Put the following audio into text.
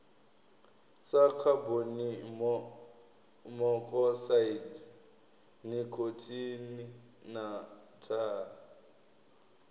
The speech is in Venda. sa khabonimokosaidi nikhotini na thaa